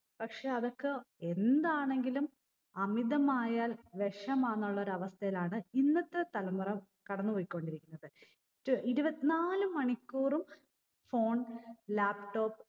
പക്ഷെ അതൊക്കെ എന്താണെങ്കിലും അമിതമായാൽ വിഷമാന്നുള്ളൊരു അവസ്ഥയിലാണ് ഇന്നത്തെ തലമുറ കടന്ന് പോയിക്കൊണ്ടിരിക്കുന്നത് ഇത് ഇരുപത്തി നാല് മണിക്കൂറും phone laptop